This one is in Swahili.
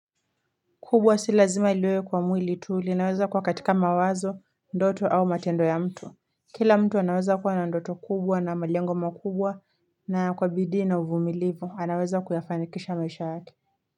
Kubwa si lazima liwe kwa mwili tu linaweza kua katika mawazo, ndoto au matendo ya mtu. Kila mtu anaweza kua na ndoto kubwa na malengo makubwa na kwa bidii na uvumilivu. Anaweza kuyafanikisha maisha yake.